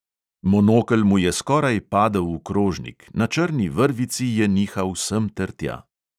Monokel mu je skoraj padel v krožnik, na črni vrvici je nihal sem ter tja.